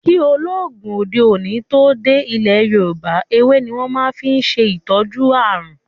kí oògùn òde òni tó dé ilẹ Yorúbá, ewé ní wón máa fí n ṣe ìtọjú àrùn.